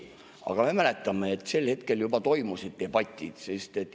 Aga me mäletame, et sel hetkel juba toimusid debatid.